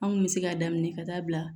Anw kun bɛ se k'a daminɛ ka taa bila